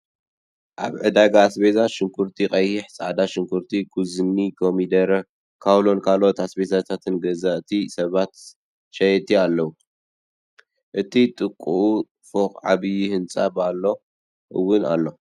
ኣብ ዕዳጋ ኣስቤዛ ሽጉርቲቀይሕ፣ ፃዕዳ ሽጉርቲ ፣ዙኩኒ፣ ኮሚደረ፣ ካውሎን ካለኦት ኣስቤዛታትን ገዛእቲ ሰባትን ሸየጥትን ኣለዉ። ኣብቲ ጥቅኡ ፎቅ ዓብይ ህንፃ ባሎ እውን ኣሎ።